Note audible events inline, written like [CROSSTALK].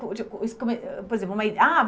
[UNINTELLIGIBLE] Por exemplo, uma, [UNINTELLIGIBLE] ah